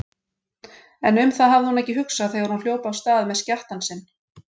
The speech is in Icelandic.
En um það hafði hún ekki hugsað þegar hún hljóp af stað með skjattann sinn.